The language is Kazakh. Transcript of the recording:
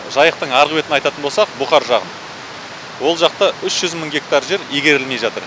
жайықтың арғы бетін айтатын болсақ бұқар жағын ол жақта үш жүз мың гектар жер игерілмей жатыр